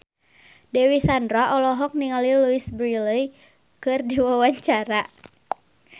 Dewi Sandra olohok ningali Louise Brealey keur diwawancara